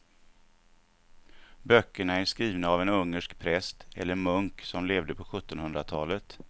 Böckerna är skrivna av en ungersk präst eller munk som levde på sjuttonhundratalet.